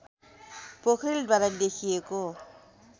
पोखरेलद्वारा लेखिएको